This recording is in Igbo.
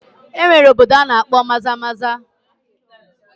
Enwere obodo ana-akpo maza maza